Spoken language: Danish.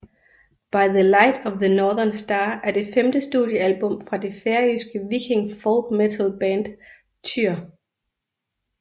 By the Light of the Northern Star er det femte studiealbum fra det færøske viking folkmetal band Týr